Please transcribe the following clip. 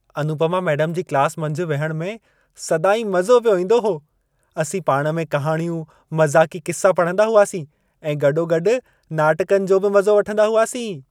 Anupama madam ji class मंझि विहण में सदाईं मज़ो पियो ईंदो हो। असीं पाणि में कहाणियूं, मज़ाक़ी क़िस्सा पढ़ंदा हुआसीं ऐं गॾोगॾु नाटकनि जो बि मज़ो वठंदा हुआसीं।